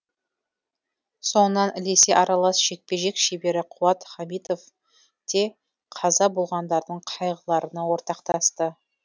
соңынан ілесе аралас жекпе жек шебері қуат хамитов те қаза болғандардың қайғыларына ортақтасты